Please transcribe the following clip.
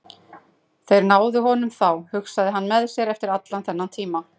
Þeir náðu honum þá, hugsaði hann með sér, eftir allan þennan tíma.